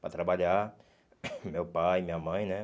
Para trabalhar, meu pai, minha mãe, né?